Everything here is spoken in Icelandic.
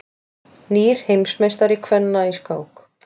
Nýr heimsmeistari kvenna í skák